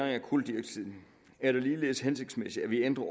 af kuldioxid er det ligeledes hensigtsmæssigt at vi ændrer